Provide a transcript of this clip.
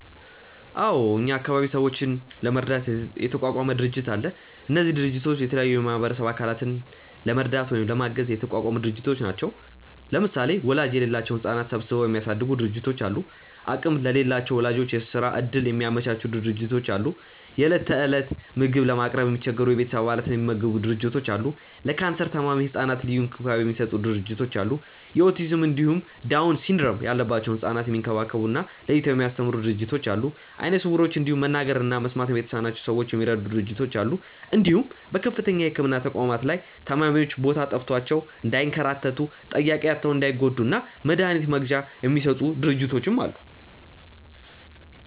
አዎ እኛ አካባቢ ሰዎችን ለመርዳት የተቋቋሙ ድርጅቶች አሉ። እነዚህ ድርጅቶች የተለያዩ የማህበረሰቡን አካላት ለመርዳት ወይም ለማገዝ የተቋቋሙ ድርጅቶች ናቸው። ለምሳሌ ወላጅ የሌላቸውን ህጻናት ሰብስበው የሚያሳድጉ ድርጅቶች አሉ፣ አቅም ለሌላቸው ወላጆች የስራ እድል የሚያመቻቹ ድርጅቶች አሉ፣ የእለት እለት ምግብ ለማቅረብ የሚቸገሩ የቤተሰብ አባላትን የሚመግቡ ድርጅቶች አሉ፣ ለካንሰር ታማሚ ህጻናት ልዩ እንክብካቤ የሚሰጡ ድርጅቶች አሉ፣ የኦቲዝም እንዲሁም ዳውን ሲንድረም ያለባቸውን ህጻናት የሚንከባከቡ እና ለይተው የሚያስተምሩ ድርጅቶች አሉ፣ አይነ ስውሮችን እንዲሁም መናገር እና መስማት የተሳናቸውን ሰዎች የሚረዱ ድርጅቶች አሉ እንዲሁም በከፍተኛ የህክምና ተቋማት ላይ ታማሚዎች ቦታ ጠፍቷቸው እንዳይንከራተቱ፣ ጠያቂ አጥተው እንዳይጎዱ እና መድሀኒት መግዣ የሚሰጡ ድርጅቶችም አሉ።